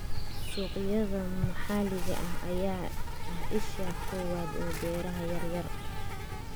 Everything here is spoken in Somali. Suuqyada maxalliga ah ayaa ah isha koowaad ee beeraha yar yar.